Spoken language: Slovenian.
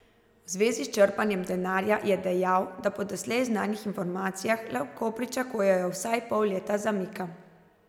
V zvezi s črpanjem denarja je dejal, da po doslej znanih informacijah lahko pričakujejo vsaj pol leta zamika.